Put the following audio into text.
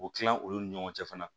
O kila olu ni ɲɔgɔn cɛ fana